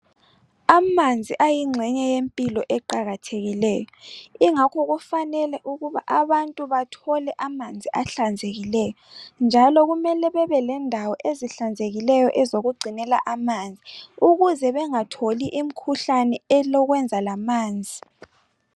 Amanzi ayinxenye yempilo eqakathekileyo. Ingakho kufanele ukuba abantu bathole amanzi ahlanzekileyo njalo kumele kube lendawo ezihlanzekileyo ezokungcinela amanzi ukuze bengatholi imikhuhlane elekwenza lamanzi.